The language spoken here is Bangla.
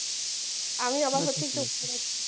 আমি অবাক হচ্ছি